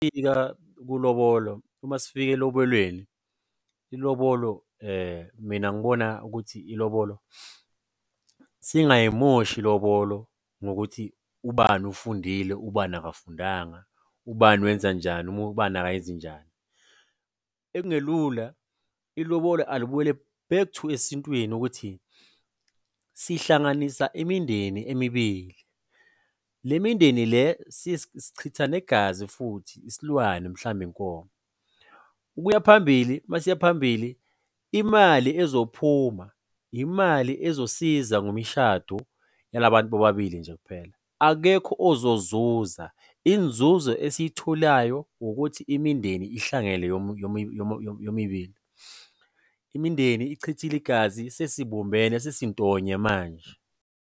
Ulobolo, uma sifika elobolweni, ilobolo mina ngibona ukuthi ilobolo singayimoshi ilobolo ngokuthi ubani ufundile, ubani akafundanga, ubani wenza njani, ubani akayenzi njani. Ekungelula, ilobolo alibuyele back to esintweni ukuthi sihlanganisa imindeni emibili. Le mindeni le, sichitha negazi futhi, isilwane, mhlambe inkomo. Ukuya phambili, uma siyaphambili, imali ezophuma, imali ezosiza ngomshado yalabantu bobabili nje kuphela. Akekho ozozuza inzuzo esiy'tholayo ukuthi imindeni ihlangene yomibili. Imindeni ichithile igazi, sesibumbene, sesintonya manje.